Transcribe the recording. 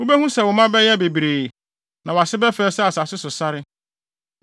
Wubehu sɛ wo mma bɛyɛ bebree; na wʼase bɛfɛe sɛ asase so sare.